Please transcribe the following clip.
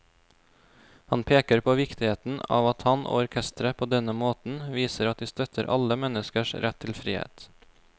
Han peker på viktigheten av at han og orkesteret på denne måten viser at de støtter alle menneskers rett til frihet.